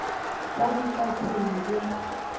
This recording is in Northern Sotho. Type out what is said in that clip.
be di ka se be